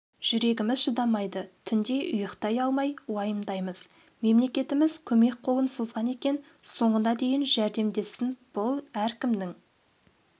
жүрегіміз шыдамайды түнде ұйықтай алмай уайымдаймыз мемлекетіміз көмек қолын созған екен соңына дейін жәрдемдессін бұл әркімнің